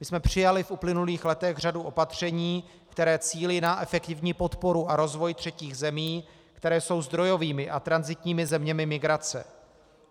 My jsme přijali v uplynulých letech řadu opatření, která cílí na efektivní podporu a rozvoj třetích zemí, které jsou zdrojovými a tranzitními zeměmi migrace.